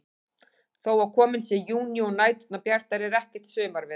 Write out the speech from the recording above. Þó að kominn sé júní og næturnar bjartar er ekkert sumarveður.